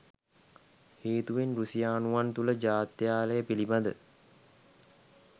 හේතුවෙන් රුසියානුවන් තුල ජාත්‍යාලය පිලිබඳ